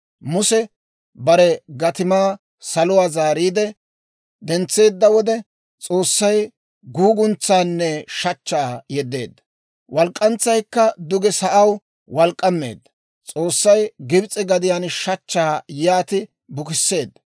Muse bare gatimaa saluwaa zaariide dentseedda wode, S'oossay guguntsaanne shachchaa yeddeedda; walk'k'antsaykka duge sa'aw walk'k'ammeedda. S'oossay Gibs'e gadiyaan shachchaa yaati bukisseedda.